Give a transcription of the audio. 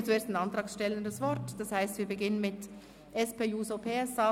Ich gebe zuerst den Antragstellern das Wort, das heisst wir beginnen mit der SP-JUSO-PSA.